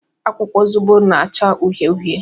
Akwụkwọ zobo na-achọ uhie uhie.